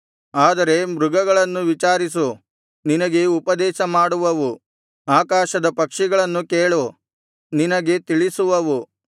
ಆದರೆ ಮೃಗಗಳನ್ನು ವಿಚಾರಿಸು ನಿನಗೆ ಉಪದೇಶ ಮಾಡುವವು ಆಕಾಶದ ಪಕ್ಷಿಗಳನ್ನು ಕೇಳು ನಿನಗೆ ತಿಳಿಸುವವು